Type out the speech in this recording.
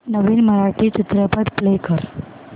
नवीन मराठी चित्रपट प्ले कर